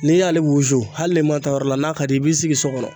N'i y'ale wusu hali n'i ma taa yɔrɔ la n'a ka d'i ye i b'i sigi so kɔnɔ